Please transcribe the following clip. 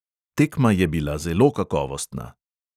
Tekma je bila zelo kakovostna.